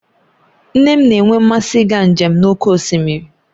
Nne m na-enwe mmasị ịga njem n'oké osimiri